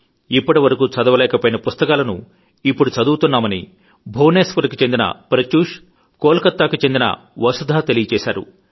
ఇప్పటి వరకు చదవలేకపోయిన పుస్తకాలను ఇప్పుడు చదువుతున్నామని భువనేశ్వర్ కు చెందిన ప్రత్యూష్ కోల్ కతాకు చెందిన వసుధ తెలియజేశారు